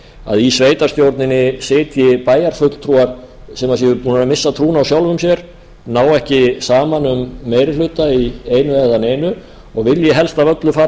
að í sveitarstjórninni sitji bæjarfulltrúar sem séu búnir að missa trúna á sjálfum sér nái ekki saman um meiri hluta í einu eða neinu og vilji helst af öllu fara frá